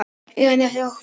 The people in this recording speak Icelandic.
Eða nefið of hvasst.